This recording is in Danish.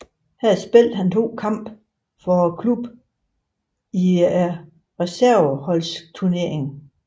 Her spillede han to kampe for klubbens hold i Reserveholdsturneringen